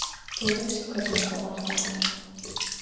Þú veist hvernig þetta var þá.